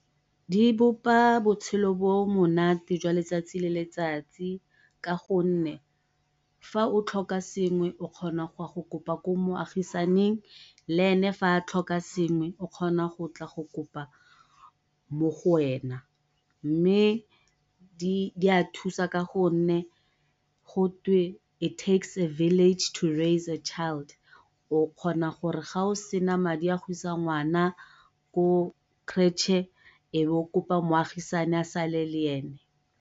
Di bopa botshelo bo bo monate jwa letsatsi le letsatsi ka gonne fa o tlhoka sengwe o kgona go ya go kopa ko moagisaning le ene ga a tlhoka sengwe o kgona go tla go kopa mo go wena, mme di a thusa ka gonne gotwe it takes a village to raise a child o kgona gore ga o sena madi a go isa ngwana ko creche e be o kopa moagisani a sale le ene.